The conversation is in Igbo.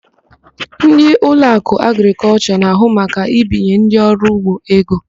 Ndị Ụlọakụ Agrịkọlshọ na-ahụ maka ibinye ndị ọrụugbo ego.